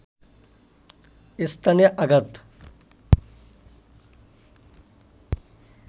স্থানে আঘাত